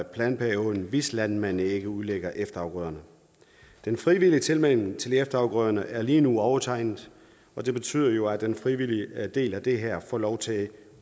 planperioden hvis landmanden ikke udlægger efterafgrøderne den frivillige tilmelding til efterafgrøderne er lige nu overtegnet og det betyder jo at den frivillige del af det her får lov til